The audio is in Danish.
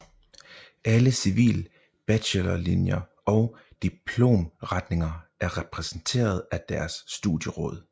Alle civil bachelorlinjer og diplomretninger er repræsenteret af deres studieråd